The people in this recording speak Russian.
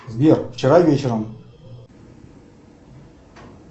сбер вчера вечером